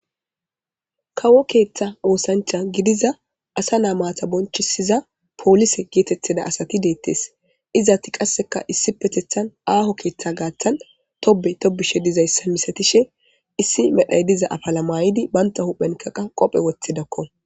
kawo keeththa woosancha gidiza asa naa maata bonchisiza poolise geetetheda asati deettes izaatti qasseka issi petethan aaho keeththa gaathan tobe tobishe dizayssa misatishe issi medhay diza afalamayidi banta huphenkaqa qophe woththidakko